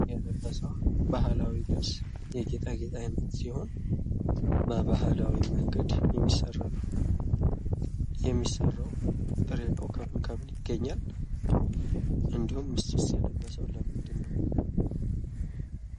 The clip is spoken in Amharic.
ያገባ ሰው ባህላዊ ልብስ ሲሆን በባህላዊ መንገድ የተሰራ ነው። የሚሰራው ጥሬ እቃው ከምን ከምን ይገኛል? እንድሁም እሱስ የለበሰው ለምንድን ነው?